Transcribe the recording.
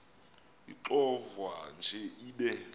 ixovwa nje ibe